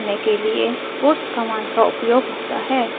terminal पर output print करने के लिए puts कमांड का उपयोग होता है